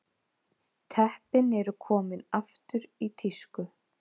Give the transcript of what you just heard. Teppin eru komin aftur í tísku